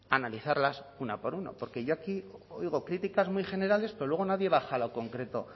a analizarlas una por una porque yo aquí oigo críticas muy generales pero luego nadie baja a lo concreto